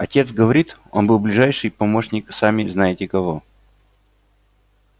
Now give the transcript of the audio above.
отец говорит он был ближайший помощник сами знаете кого